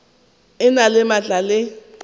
e na le maatla le